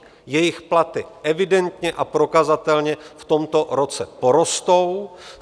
Jejich platy evidentně a prokazatelně v tomto roce porostou.